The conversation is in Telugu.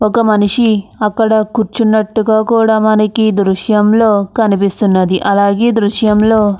ఒక మనిషి అక్కడ కుచ్చోనట్టుగా కూడా మనకి ఈ దృశ్యంలో కనిపిస్తున్నది అలాగే దృశ్యంలో --